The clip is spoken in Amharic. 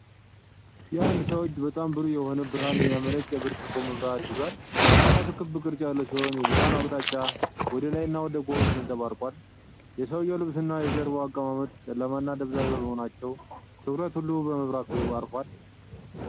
የአንድ ሰው እጅ በጣም ብሩህ የሆነ ብርሃን የሚያመነጭ የብርጭቆ መብራት (ልሳን) ይዟል። መብራቱ ክብ ቅርጽ ያለው ሲሆን፣ የብርሃኑ አቅጣጫ ወደ ላይና ወደ ጎን ተንፀባርቋል። የሰዉዬው ልብስና የጀርባው አቀማመጥ ጨለማና ደብዛዛ በመሆናቸው ትኩረቱ ሁሉ በመብራቱ አርፏል።